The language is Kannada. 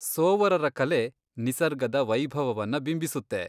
ಸೋವರರ ಕಲೆ ನಿಸರ್ಗದ ವೈಭವವನ್ನ ಬಿಂಬಿಸುತ್ತೆ.